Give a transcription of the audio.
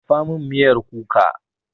Dafa min miyar kuka!